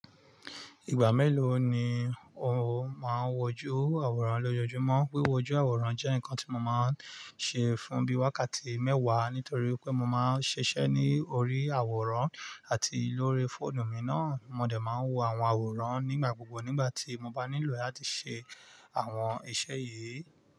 Ìgbà mélòó ni o máa ń wọjú àwòrán lójoojúmọ́? Wíwọjú àwòrán jẹ́ nǹkan tí mo máa ń ṣe fún bí i wákàtí mẹ́wàá nítorí pé mo máa ń ṣiṣẹ́ ní orí àwòrán àti lórí fóònù mi náà. Mo dẹ̀ máa ń wo àwọn àwòrán nígbà gbogbo nígbà tí mo bá nílò láti ṣe àwọn iṣẹ́ yìí.